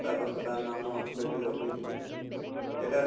তাৰ পাছত আৰু নামৰ basis ত লিখি দিওঁ। এটা এটা